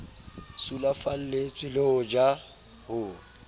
sulafalletswe le ho ja ho